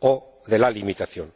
o de la limitación.